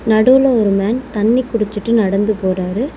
நடுவுல ஒரு மேன் தண்ணி குடிச்சிட்டு நடந்து போறாரு.